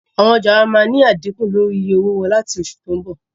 Àwọn ọjà wá máa ni a dínkù lórí iye owó wọn láti oṣù tó ń bọ̀ lọ